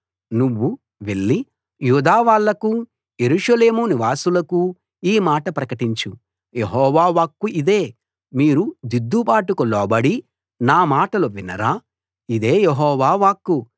నువ్వు వెళ్లి యూదా వాళ్ళకూ యెరూషలేము నివాసులకూ ఈ మాట ప్రకటించు యెహోవా వాక్కు ఇదే మీరు దిద్దుబాటుకు లోబడి నా మాటలు వినరా ఇదే యెహోవా వాక్కు